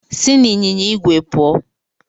Si n'ịnyịnya igwe puo